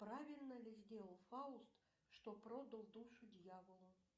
правильно ли сделал фауст что продал душу дьяволу